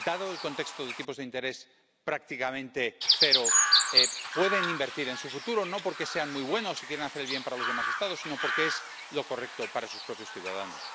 Dado el contexto de tipos de interés, prácticamente cero, pueden invertir en su futuro, no porque sean muy buenos y quieran hacer el bien para los demás Estados, sino porque es lo correcto para sus propios ciudadanos.